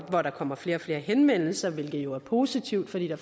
hvor der kommer flere og flere henvendelser hvilket jo er positivt fordi der